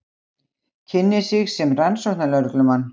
Kynnir sig sem rannsóknarlögreglumann.